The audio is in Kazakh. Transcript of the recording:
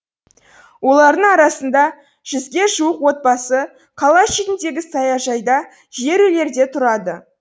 олардың арасында жүзге жуық отбасы қала шетіндегі саяжайда жер үйлерде тұрады